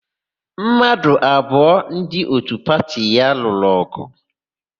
Mmadụ abụọ ndị òtú pati ya lụrụ ọgụ.